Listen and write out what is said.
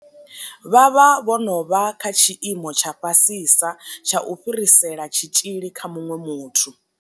Vha vha vho no vha kha tshiimo tsha fhasisa tsha u fhirisela tshitzhili kha muṅwe muthu.